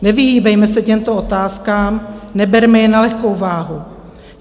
Nevyhýbejme se těmto otázkám, neberme je na lehkou váhu.